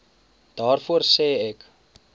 daarvoor sê ek